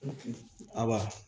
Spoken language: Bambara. A ba